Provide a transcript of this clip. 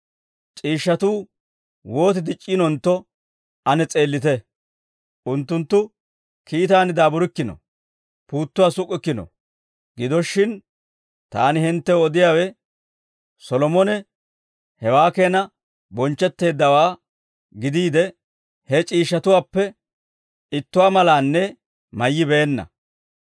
C'iishshatuu wooti dic'c'iinontto ane s'eellite; unttunttu kiitaan daaburikkino; puuttuwaa suk'k'ikkino; gido shin taani hinttew odiyaawe, Solomone hewaa keena bonchchetteeddawaa gidiide, he c'iishshatuwaappe ittuwaa malaanne mayyibeenna.